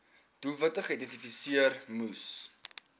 doelwitte geïdentifiseer moes